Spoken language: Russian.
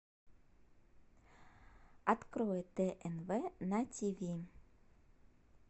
открой тнв на тв